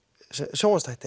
sjónvarpsþætti